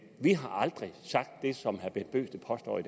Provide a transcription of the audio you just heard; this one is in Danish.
vi har aldrig sagt det som herre bent bøgsted påstår